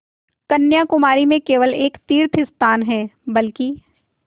कन्याकुमारी में केवल एक तीर्थस्थान है बल्कि